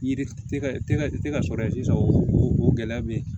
Yiri tɛ ka tɛ ka tɛ ka sɔrɔ ye sisan o gɛlɛya bɛ yen